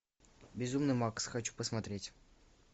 безумный макс хочу посмотреть